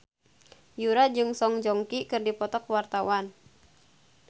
Yura jeung Song Joong Ki keur dipoto ku wartawan